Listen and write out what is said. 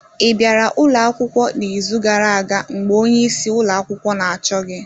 Ị bịara ụlọ akwụkwọ n'izu gara aga mgbe onyeisi ụlọ akwụkwọ na-achọ gị